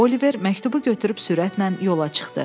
Oliver məktubu götürüb sürətlə yola çıxdı.